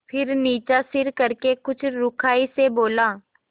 फिर नीचा सिर करके कुछ रूखाई से बोला